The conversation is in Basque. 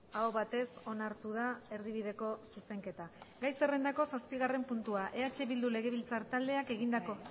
aho batez onartu da erdibideko zuzenketa gai zerrendako zazpigarren puntua eh bildu legebiltzar taldeak egindako